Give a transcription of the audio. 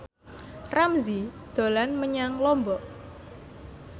Ramzy dolan menyang Lombok